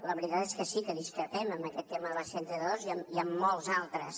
la veritat és que sí que discrepem en aquest tema de la c trenta dos i en molts altres